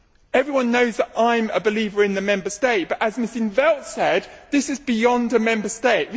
Everyone knows that I am a believer in the Member State but as Ms in 't Veld said this is beyond the Member State.